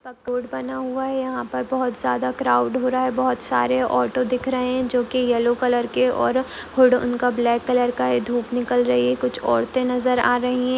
Road बना हुआ है यहा पर ज्यादा क्राउड़ हो रहा है बहुत सारे ऑटो दिख रहे जो की येल्लो कलर के और हूड उनका ब्लॅक कलर का है धूप निकल रही है कुछ औरते नजर आ रही है।